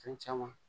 Fɛn caman